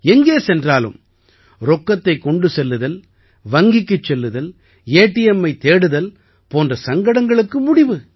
எங்கே சென்றாலும் ரொக்கத்தைக் கொண்டு செல்லுதல் வங்கிக்குச் செல்லுதல் ஏடிஎம்மைத் தேடுதல் போன்ற சங்கடங்களுக்கு முடிவு